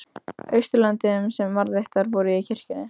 Austurlöndum sem varðveittar voru í kirkjunni.